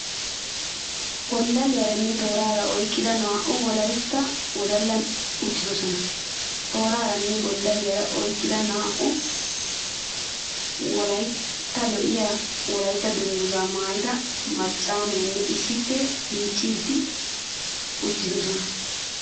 Gonddaliyaanne tooraa oyqqida naa'u Wolaytta wodallati uttidosona. Tooraanne gonddalliyaa oyqqida naa'u wodallatikka lo'iya Wolaytta dungguzza hadiya maayidinne issippe miicciiddi uttidosona.